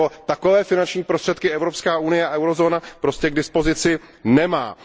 Takové finanční prostředky Evropská unie a eurozóna prostě k dispozici nemají.